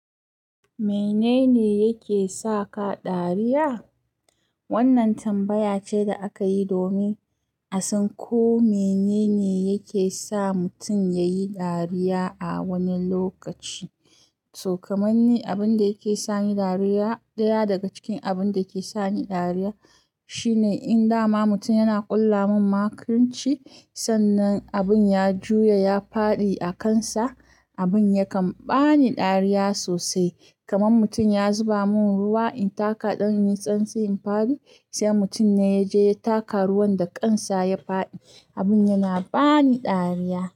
Menene yake sa ka dariya? Wannan tambaya ce da aka yi domin a san ko menene yake sa mutum ya yi dariya a wani lokaci. To, kamar ni, abin da yake sani dariya, ɗaya daga cikin abun da ke sani dariya shine in dama mutum yana ƙulla min makirci, sannan abin ya juya ya faɗi a kansa, abin yakan bani dariya sosai. Kaman mutum ya zuba mun ruwa in taka ɗan yitsan tsi in faɗi, sai mutum ne ya je ya taka ruwan da kansa ya faɗi, abin yana bani dariya.